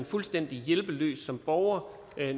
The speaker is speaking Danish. fuldstændig hjælpeløs som borger